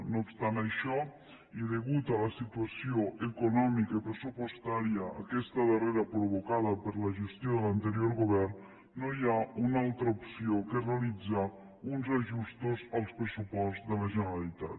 no obstant això i a causa de la situació econòmica i pressupostària aquesta darrera provocada per la gestió de l’anterior govern no hi ha una altra opció que realitzar uns ajustos al pressupost de la generalitat